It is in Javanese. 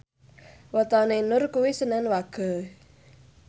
wetone Nur kuwi senen Wage